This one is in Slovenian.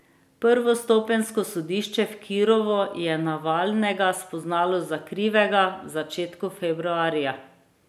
Prvostopenjsko sodišče v Kirovu je Navalnega spoznalo za krivega v začetku februarja.